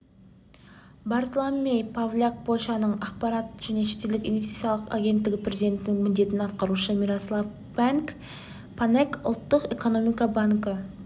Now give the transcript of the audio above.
бартломей павляк польшаның ақпарат және шетелдік инвестициялар агенттігі президентінің міндетін атқарушы мирослав панэк ұлттық экономика банкі